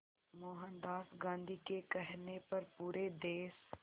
मोहनदास गांधी के कहने पर पूरे देश